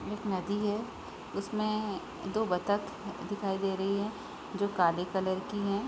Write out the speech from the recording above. एक नदी है इसमें तो बतख दिखाई दे रही है जो काले कलर की है।